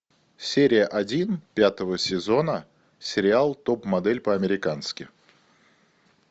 серия один пятого сезона сериал топ модель по американски